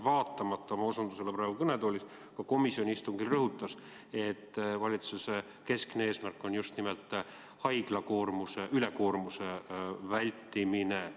Vaatamata oma osutusele praegu kõnetoolis ja ka komisjoni istungil peaminister rõhutas, et valitsuse keskne eesmärk on just nimelt haiglate ülekoormuse vältimine.